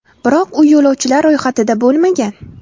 Biroq u yo‘lovchilar ro‘yxatida bo‘lmagan.